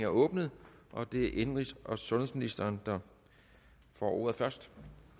åbnet og det er indenrigs og sundhedsministeren der får ordet først